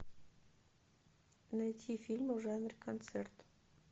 найти фильмы в жанре концерт